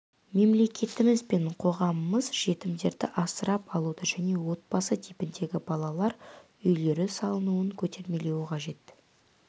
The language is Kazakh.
мемлекетіміз бен қоғамымыз жетімдерді асырап алуды және отбасы типіндегі балалар үйлері салынуын көтермелеуі қажет